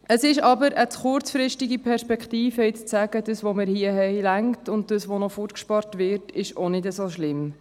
Es ist aber eine zu kurzfristige Massnahme, um zu sagen: Was wir hier haben, reicht aus, und was noch weggespart wird, das ist auch nicht so schlimm.